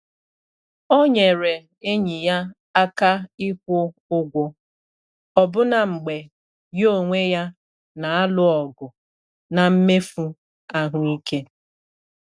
O nyere enyi ya aka ikwu ụgwọ, ọbụna mgbe ya onwe ya na-alụ ọgụ na mmefu ahụike.